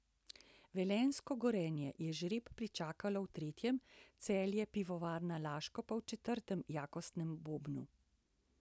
Velenjsko Gorenje je žreb pričakalo v tretjem, Celje Pivovarna Laško pa v četrtem jakostnem bobnu.